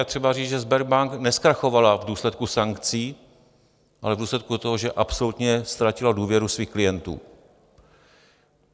Je třeba říct, že Sberbank nezkrachovala v důsledku sankcí, ale v důsledku toho, že absolutně ztratila důvěru svých klientů.